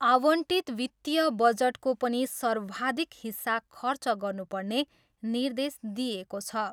आवण्टित वित्तीय बजटको पनि सर्वाधिक हिस्सा खर्च गर्नुपर्ने निर्देश दिइएको छ।